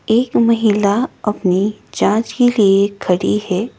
एक महिला अपनी जांच के लिए खड़ी है।